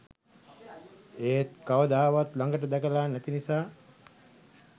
ඒත් කවදාවත් ලඟට දැකලා නැති නිසා